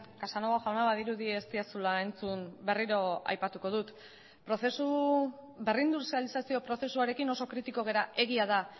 casanova jauna badirudi ez didazula entzun berriro aipatuko dut prozesu berrindustrializazio prozesuarekin oso kritiko gara egia da